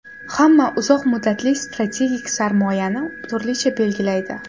Hamma uzoq muddatli strategik sarmoyani turlicha belgilaydi.